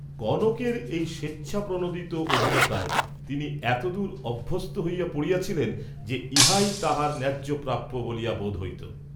কনকের এই স্বেচ্ছাপ্রণোদিত অধীনতায় তিনি এতদূর অভ্যস্ত হইয়া পড়িয়াছিলেন যে ইহাই তাঁহার ন্যায্য প্রাপ্য বলিয়া বোধ হইত।